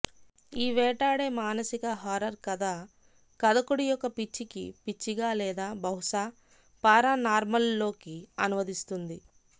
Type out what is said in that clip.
ఈ వేటాడే మానసిక హర్రర్ కథ కథకుడి యొక్క పిచ్చికి పిచ్చిగా లేదా బహుశా పారానార్మల్లోకి అనువదిస్తుంది